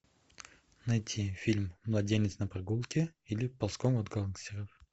найти фильм младенец на прогулке или ползком от гангстеров